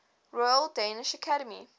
royal danish academy